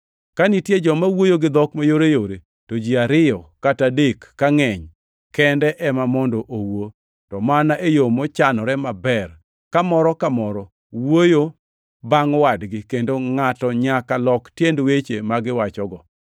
Ka nitie joma wuoyo gi dhok mayoreyore, to ji ariyo kata adek ka ngʼeny kende ema mondo owuo, to mana e yo mochanore maber, ka moro ka moro wuoyo bangʼ wadgi, kendo ngʼato nyaka lok tiend weche ma giwachogo.